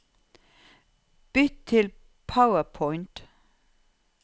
Bytt til PowerPoint